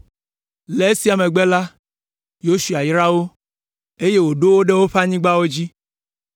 Le esia megbe la, Yosua yra wo, eye wòɖo wo ɖe woƒe anyigbawo dzi.